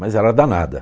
Mas ela é danada.